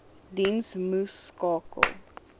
diens moes skakel